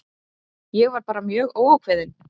Ég var bara mjög óákveðinn.